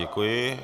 Děkuji.